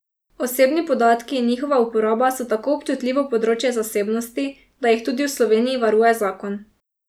Osebni podatki in njihova uporaba so tako občutljivo področje zasebnosti, da jih tudi v Sloveniji varuje zakon.